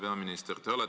Hea peaminister!